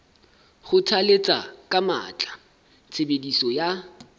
kgothalletsa ka matla tshebediso ya